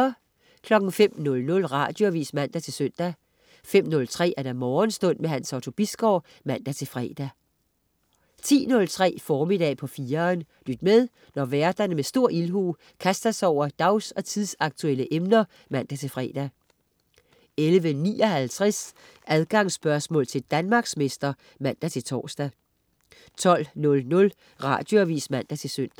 05.00 Radioavis (man-søn) 05.03 Morgenstund. Hans Otto Bisgaard (man-fre) 10.03 Formiddag på 4'eren. Lyt med, når værterne med stor ildhu kaster sig over dags- og tidsaktuelle emner (man-fre) 11.59 Adgangsspørgsmål til Danmarksmester (man-tors) 12.00 Radioavis (man-søn)